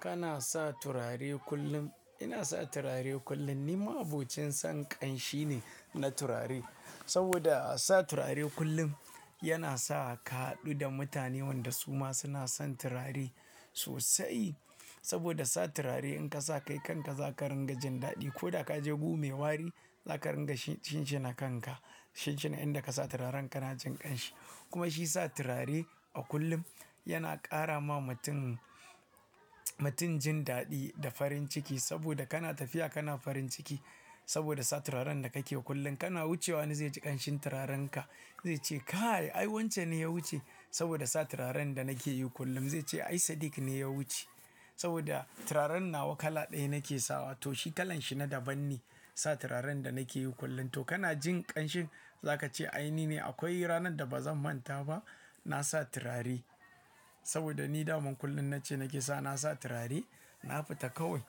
Kana sa turare kullum. Ina sa turare kullum. Ni ma'abocin san ƙanshi ne na turare. Saboda sa turare kullum yana sa ka haɗu da mutane wanda su ma suna son turare sosai. Saboda sa turare in ka sa kai kanka za ka ringa jin daɗi. Ko da ka je Gu me wari, za ka ringa shinshina kanka. Shinshina inda ka sa turaren kana jin ƙanshi. Kuma shi sa turare a kullum yana ƙara ma mutum, mutum jin daɗi da farin ciki. Saboda kana tafiya kana farin ciki. Saboda sa turaren da kake kullum kana wucewa wani zai ji ƙanshin turarenka. Zai ce "kai, ai wance ne ya wuce?" Saboda sa turaren da nake yi kullum. Zai ce "ai Sadik ne ya wuce." Saboda turaren nawa kala ɗaya nake sawa to shi kalan shi na daban ne. Sa turaren da nake yi kullum. To kana jin ƙanshin za ka ce ai ni ne. Akwai ranar da ba zan manta ba. Na sa turare saboda ni daman kullum nace nake sawa na sa turare. Na fita kawai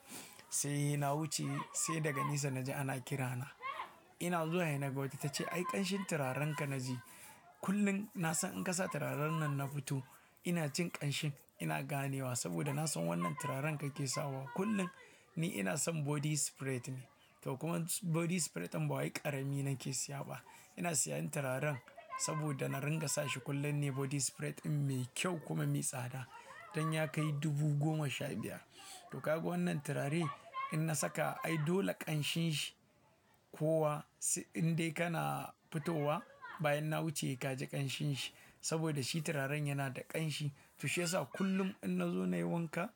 sai na wuce sai daga nesa naji ana kirana. Ina zuwa he na ga wata ta ce "ai ƙanshin turarenka na ji." Kullum na san in ka sa turaren nan na fito ina jin ƙanshin ina ganewa saboda na san wannan turaren kake sawa kullum. Ni ina son body spray ne. To kuma body spray in ba wai ƙarami nake siya ba. Ina siyan turaren saboda na ringa sa shi kullum ne body spray ɗin mai kyau kuma mai tsada. Danya kai dubu goma sha biyar. To ka ga wannan turare in na saka ai dole ƙanshin shi kowa indai kana fitowa bayan na wuce he ka ji ƙanshin shi. Saboda shi turaren yana da ƙanshi. To shi yasa kullum in na zo nayi wanka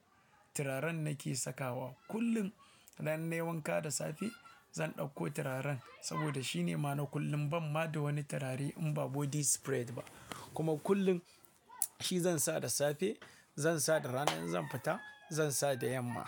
turaren nake sakawa. Kullum ranai nayi wanka da safe zan ɗauko turaren saboda shine ma na kullum ban ma da wani turare in ba body spray ba. Kuma kullum shi zan sa da safe, zan sa da rana in zan fita, zan sa da yamma.